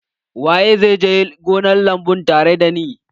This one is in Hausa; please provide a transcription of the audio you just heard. Waye zai je gonar lambu tare da ni?